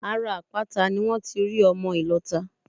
Ara àpáta ni wón ti rí ọmọ ìlọta